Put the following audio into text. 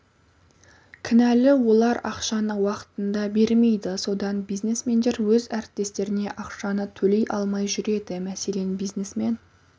кінәлі олар ақшаны уақытында бермейді содан бизнесмендер өз әріптестеріне ақшаны төлей алмай жүреді мәселен бизнесмен